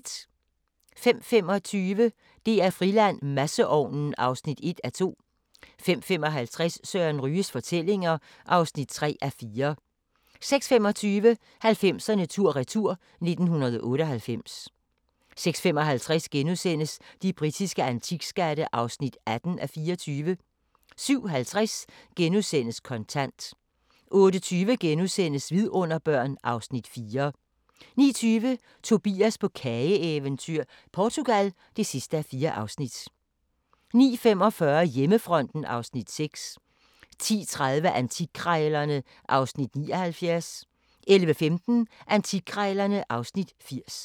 05:25: DR-Friland: Masseovnen (1:2) 05:55: Søren Ryges fortællinger (3:4) 06:25: 90'erne tur-retur: 1998 06:55: De britiske antikskatte (18:24)* 07:50: Kontant * 08:20: Vidunderbørn (Afs. 4)* 09:20: Tobias på kageeventyr - Portugal (4:4) 09:45: Hjemmefronten (Afs. 6) 10:30: Antikkrejlerne (Afs. 79) 11:15: Antikkrejlerne (Afs. 80)